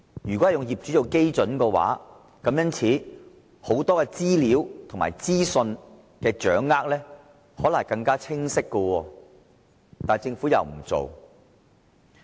如果以業主作為單位，很多資料和資訊的掌握將會更為清晰，但政府卻沒有這樣做。